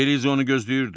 Beriza onu gözləyirdi.